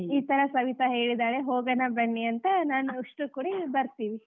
ಈ ಥರ ಸವಿತಾ ಹೇಳಿದಾಳೆ ಹೋಗೋಣ ಬನ್ನಿ ಅಂತಾ ನಾನು ಉಷ್ಟೂರು ಕೂಡಿ ಬರ್ತೀವಿ.